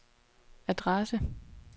adresse